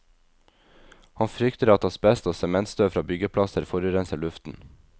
Han frykter at asbest og sementstøv fra byggeplasser forurenser luften.